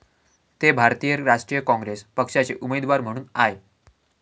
ते भारतीय राष्ट्रीय काँग्रेस पक्षाचे उमदेवार म्हणून आय.